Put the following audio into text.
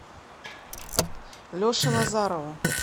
леше назарову